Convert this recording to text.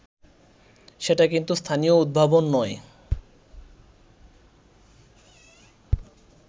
সেটা কিন্তু স্থানীয় উদ্ভাবন নয়